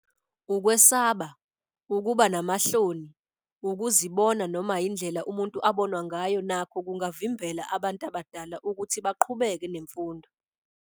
Ukwesaba, ukuba namahloni, ukuzibona noma indlela umuntu abonwa ngayo nakho kungavimbela abantu abadala ukuthi baqhubeke nemfundo.